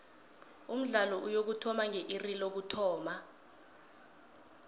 umdlalo uyokuthoma nge iri lokuthoma